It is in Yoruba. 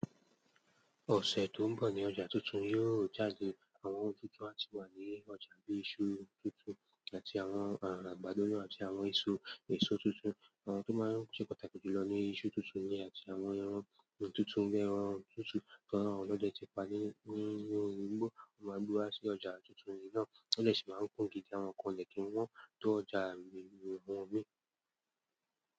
Ọ̀sẹ̀ tó ń bọ̀ ní ọjà tuntun yóò jáde. Àwọn ohun tuntun á ti wà ní ọjà bíi iṣu tuntun àti àwọn ara àgbàdo àti àwọn èso tuntun. Àwọn tó máa ń ṣe pàtàkì jù lọ ni iṣu tuntun yẹn àti àwọn ẹran tuntun bi ẹ̀ran tutu ti awon olọ́de tí pa ní inu igbó. Won máa n gbe wa sí ọjà tuntun yìí náà, o de sì máa ń kun gidi àwọn nkan o dẹ̀ kín wọ́n tó ọjà awon mi.